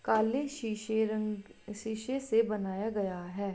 काले शीशे रंग शीशे से बनाया गया है।